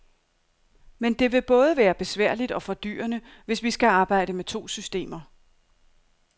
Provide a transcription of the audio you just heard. Men det vil både være besværligt og fordyrende, hvis vi skal arbejde med to systemer.